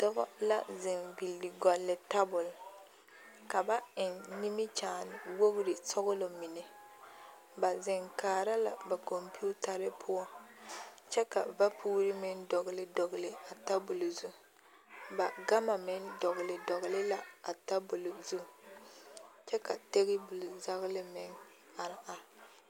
Dɔba la zeŋ villi gɔlle tabol ka ba eŋ nimikyaane wogre sɔglɔ mine ba zeŋ kaara la ba kɔmpiitare poɔ kyɛ ka vapuure meŋ dɔgle dɔgle a tabol zu ba gama meŋ dɔgle dɔgle la a tabol zu kyɛ ka table zagla meŋ are are.